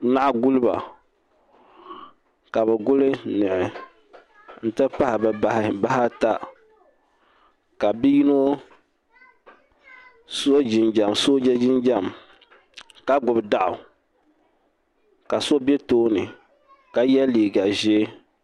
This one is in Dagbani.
Naɣiguliba. ka bi guli niɣi n t pahi bɛ bahi bahi ata. kabiyinɔ so jin jam soja jin jam. kagbubi daɣu. ka so be tooni. ka ye liiga ʒɛɛ